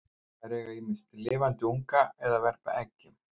Þær eignast ýmist lifandi unga eða verpa eggjum.